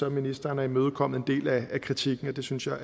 at ministeren har imødekommet en del af kritikken og det synes jeg